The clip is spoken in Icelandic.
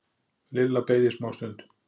Lilla beið í smástund.